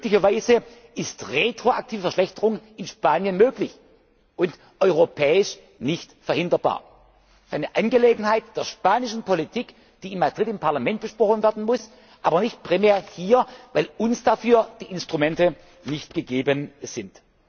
wäre. Möglicherweise ist retroaktive Verschlechterung in Spanien möglich und europäisch nicht verhinderbar. Das ist eine Angelegenheit der spanischen Politik, die in Madrid im Parlament besprochen werden muss, aber nicht primär hier, weil uns dafür die Instrumente nicht gegeben